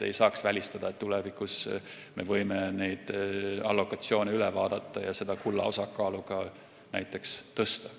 Ei saa välistada, et tulevikus me võime neid allokatsioone üle vaadata ja ka näiteks kulla osakaalu tõsta.